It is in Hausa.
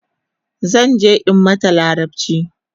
Zanje in mata larabchi